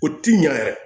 O ti ɲa yɛrɛ